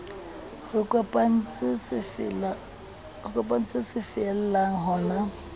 re kopantse se fella hona